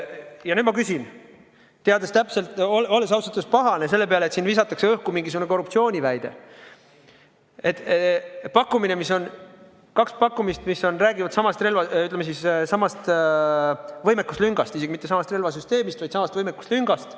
Ja nüüd ma küsin, teades täpselt ja olles ausalt öeldes pahane selle peale, et siin visatakse õhku mingisugune korruptsiooniväide: on kaks pakkumist, mis räägivad samast, ütleme siis, võimekuslüngast, isegi mitte samast relvasüsteemist, vaid samast võimekuslüngast.